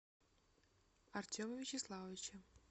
артема вячеславовича